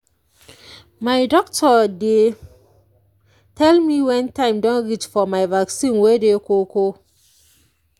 my doctor dey tell me wen time don reach for my vaccine wey dey koko